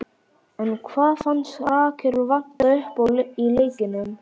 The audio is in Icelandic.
En hvað fannst Rakel vanta uppá í leiknum?